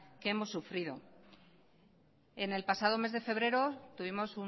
que hemos sufrido en el pasado mes de febrero tuvimos